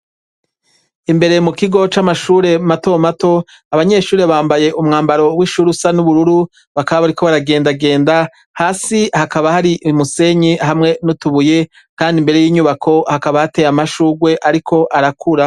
Imbere mu kigo c'amashure mato mato abanyeshure bambaye umwambaro w'ishure usa n'ubururu bakaba bariko baragendagenda, hasi hakaba hari umusenyi hamwe n'utubuye kandi imbere y'inyubako hakaba hateye amashurwe ariko arakura.